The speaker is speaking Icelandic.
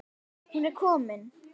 Hún er komin